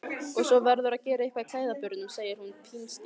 Svo verðurðu að gera eitthvað í klæðaburðinum, segir hún pinnstíf.